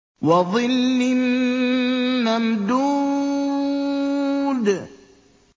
وَظِلٍّ مَّمْدُودٍ